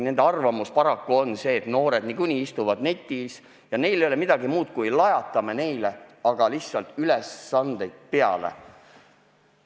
Nende arvamus on paraku see, et noored niikuinii istuvad netis ja muudkui aga lajatame neile lihtsalt ülesandeid peale.